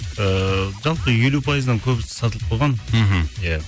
ыыы жалпы елу пайыздан көбісі сатылып қойған мхм иә